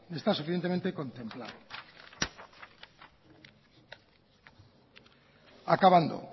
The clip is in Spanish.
está suficientemente contemplado acabando